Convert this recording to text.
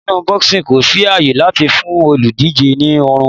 Nínú boxing kò sí àyè láti fún olùdíje ní ọrùn.